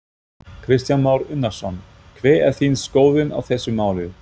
Kristján Már Unnarsson: Hver er þín skoðun á þessu máli?